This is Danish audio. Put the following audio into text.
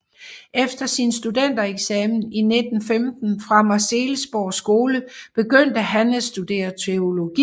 Efter sin studentereksamen i 1915 fra Marselisborg Skole begyndte han at studere teologi